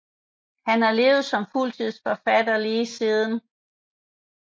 Han har levet som fuldtidsforfatter lige siden